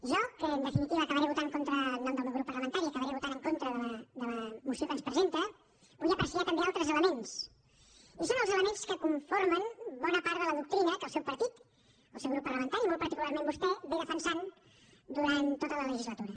jo que en definitiva acabaré votant en nom del meu grup parlamentari en contra de la moció que ens presenta vull apreciar també altres elements i són els elements que conformen bona part de la doctrina que el seu partit el seu grup parlamentari i molt particularment vostè han defensat durant tota la legislatura